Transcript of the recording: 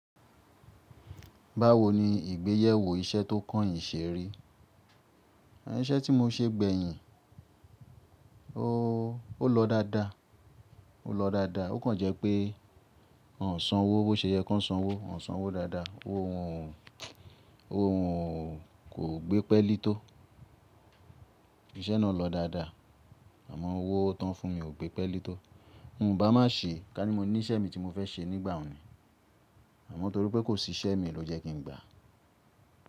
Báwo ni ìgbéyẹ̀wò iṣẹ́ tó kán yin ṣe ri? Ẹn, iṣẹ́ tí mo ṣe gbẹ̀yin o, ó lọ dáadáa, ó lọ dáadáa ó kàn jẹ́ pé wọ́n ò sanwó bó ṣe yẹ kó sanwó, wọ́n ò sanwó dáadáa owó wọn ò, owó wọn kò gbé pẹ́lí tó. Ìṣẹ́ náà lọ dáadáa àmọ́ owó tán fún mi ò gbé pelí tó. Mo ń bá má ṣe ká ní mo ní iṣẹ́ mi tí mo fẹ́ ṣe nígbà un ni àmọ́ torí pé kò sí iṣẹ́ mi ló jẹ́ kín gbà.